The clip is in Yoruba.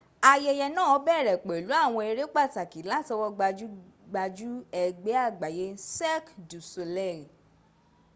ayẹyẹ náà bẹ̀rẹ̀ pẹ̀lú àwọn eré pàtàkì látọwọ́ gbajúgbajù ẹgbẹ́ àgbáyé cirque du soleil